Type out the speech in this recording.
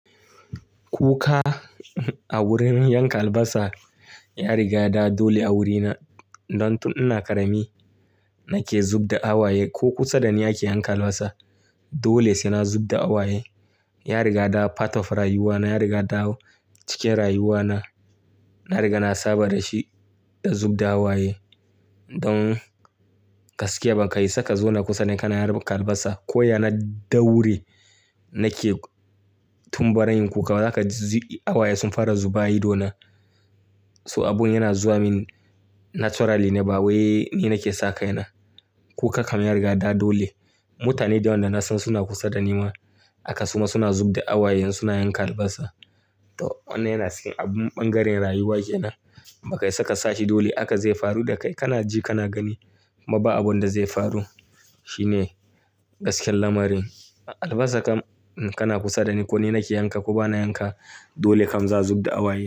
Kuka a wurin yanka albasa ya riga da dole a wurina. Don tun ina ƙarami nake zub da waye ko kusa da ni ake yanka albasa dole sai na zub da waye. Ya riga da part of rayuwana, ya riga da cikin rayuwana. Na riga na saba da shi da zub da waye. Don gaskiya baka iya saka zo na kusa da kana yarben albasa ko ya na dauri nake tun barin ku ka za ka ji waye sun fara zubawa ido na. To abun yana zuwa min naturally ne ba wai ni nake saka yana. Kuka kam ya riga da dole. Mutane da wanda na san suna kusa da ni ma aka suma suna zub da waye in suna yanka albasa. To wannan yana cikin abun ɓangaren rayuwa ke nan. Baka iya saka sashi dole aka zai faru da kai kana ji kana gani ma ba abun da zai faru. Shi ne gasken lamarin. Albasa kam kana kusa da ni ko ni nake yanka ko bana yanka dole kam za a zub da waye.